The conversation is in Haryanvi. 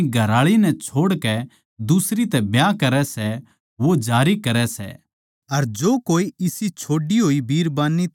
अकास अर धरती का टळ जाणा आसान सै पर नियमकायदा की हर छोट्टी बात भी पूरी होकै रहवैगी